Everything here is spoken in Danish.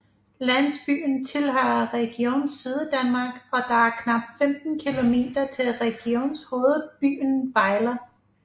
Landsbyen tilhører Region Syddanmark og der er knap 15 kilometer til regionshovedbyen Vejle